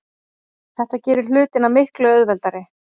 Þetta gerir hlutina miklu auðveldari.